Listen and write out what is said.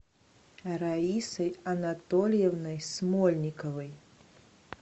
раисой анатольевной смольниковой